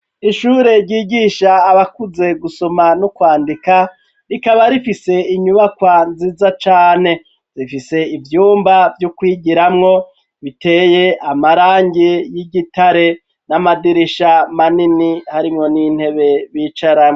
Ishure ryigisha abakuze gusoma no kwandika rikaba rifise inyubakwa nziza cane rifise ivyumba vyo kwigiramwo biteye amarangi y'igitare n'amadirisha manini harimwo n'intebe bicarako.